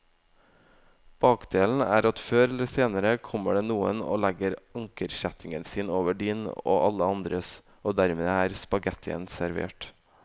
Bakdelen er at før eller senere kommer det noen og legger ankerkjettingen sin over din og alle andres, og dermed er spaghettien servert.